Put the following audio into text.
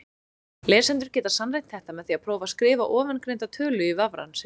Lesendur geta sannreynt þetta með því að prófa að skrifa ofangreinda tölu í vafrann sinn.